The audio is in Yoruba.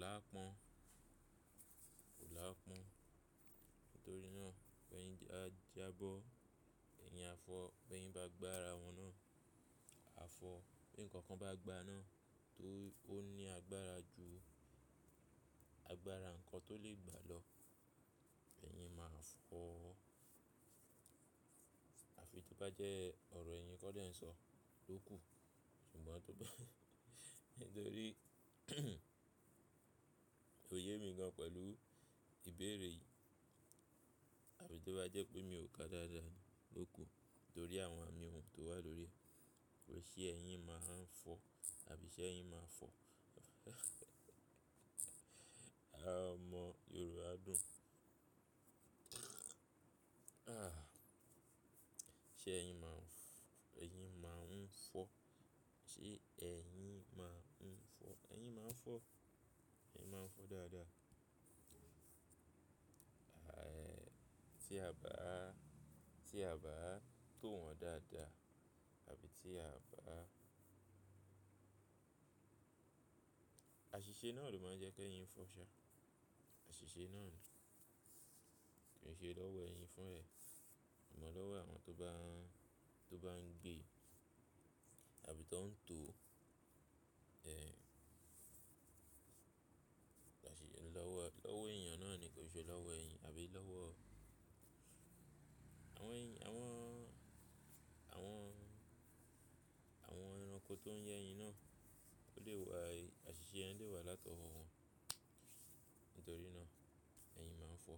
lápọ́n, kò lápọ́n. Nítorí náà, pé ẹ̀yin bá jábọ́, ẹ̀yin á fọ́, bi ẹ̀yin bá gbá ara wọn náà, á fọ́. Bi ǹkan kan bá gbá aná tó ní agbára ju agbára ǹkan tó lè gbá lọ, ẹ̀yin máa fọ́. Àfi tó bá jẹ́ ọ̀rọ̀ ẹ̀yin kọ́ lẹ̀ ń sọ lóku. Ṣùgbọ́n tó bá, nítorí, kòye mi gan pẹ̀lú ìbéèrè yìí, àfí tó bá jẹ́ pé mi ò ka dáadáa lóku torí àwọn àmì won tó wà lórí ẹ́. Ṣé ẹ̀yin máa ń fọ́ àbí ṣé ẹ̀yin máa ń fọ́? A mọ Yorùbá dùn. Ṣé ẹ̀yin máa ń fọ́? Ṣé ẹ̀yin máa ń fọ́? Ẹ̀yin máa ń fọ́. Ẹ̀yin máa ń fọ́ dáadáa. Tí a bá, tí a bá tò wọ́n dáadáa àbí tí a bá. Àṣìṣe náà ló máa ń jẹ́ kí ẹ̀yin fọ́ ṣá. Àṣìṣe náà ló. Ki ṣe lọ́wọ́ ẹ̀yin fún ẹ. Imọ̀ lọ́wọ́ àwọn tó bá, tó bá ń gbé, àbí tó ń tò, ẹ́. Àṣì lọ́wọ́, lọ́wọ́ èeyàn náà ni kò ṣe lọ́wọ́ ẹ̀yin àbí lọ́wọ́ àwọn èn, àwọn, àwọn, àwọn ẹranko tó ń yé ẹ̀yin náà. Ó lè wà i, àṣìṣe yẹ́n lè wà látọ̀wọ́ wọn. Nítorí náà, ẹ̀yin máa ń fọ́.